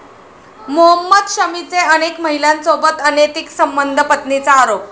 मोहम्मद शमीचे अनेक महिलांसोबत अनैतिक संबंध, पत्नीचा आरोप